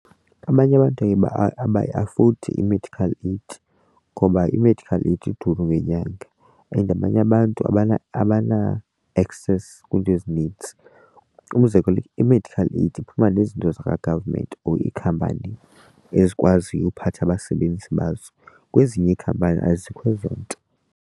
Abanye abantu abayiafodi i-medical aid ngoba i-medical aid iduru ngenyanga and abanye abantu abana-access kwiinto ezinintsi. Umzekelo i-medical aid iphuma nezinto zakwa-government or iikhampani ezikwaziyo uphatha abasebenzi bazo. Kwezinye iikhampani azikho ezo nto.